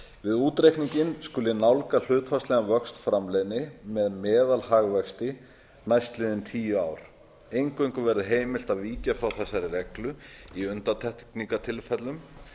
við útreikninginn skuli nálga hlutfallslegan vöxt framleiðni með meðalhagvexti á mann næstliðin tíu ár eingöngu verði heimilt að víkja frá þessari reglu í undantekningartilfellum